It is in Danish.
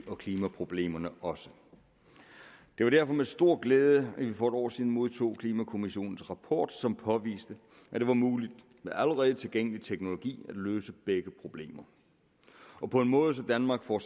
og klimaproblemerne også det var derfor med stor glæde at vi for et år siden modtog klimakommissionens rapport som påviste at det var muligt med allerede tilgængelig teknologi at løse begge problemer og på en måde så danmark får